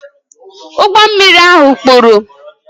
Ụgbọ mmiri ahụ kpuru